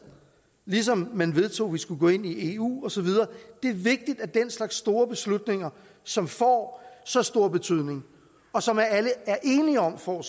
ligesom man vedtog at vi skulle gå ind i eu og så videre det er vigtigt at den slags store beslutninger som får så stor betydning og som alle er enige om får